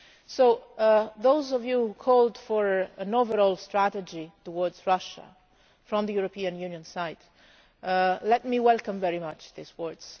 To those of you who called for an overall strategy towards Russia from the European Union, let me welcome very much these words.